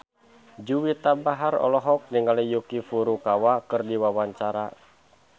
Juwita Bahar olohok ningali Yuki Furukawa keur diwawancara